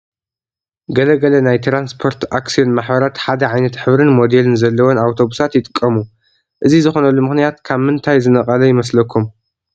ገለ ገለ ናይ ትራንስፖርት ኣክስዮን ማሕበራት ሓደ ዓይነት ሕብርን ሞዴልን ዘለወን ኣውቶቡሳት ይጥቀሙ፡፡ እዚ ዝኾነሉ ምኽንያት ካብ ምንታይ ዝነቐለ ይመስለኩም?